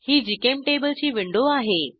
ही जीचेम्टेबल ची विंडो आहे